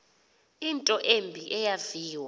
into embi eyaviwa